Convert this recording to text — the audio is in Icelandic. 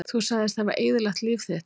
Þú sagðist hafa eyðilagt líf þitt